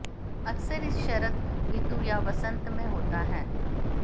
अक्सर इस शरद ऋतु या वसंत में होता है